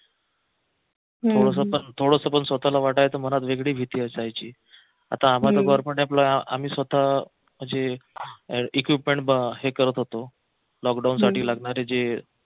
थोडस पण स्वतःला वाटायचं मनात पण वेगळी भीती असायची आता आम्हाला आम्ही स्वतः म्हणजे equipment हे करत होतो लॉकडाऊन साठी लागणारे जे